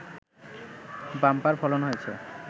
bumper ফলন হয়েছে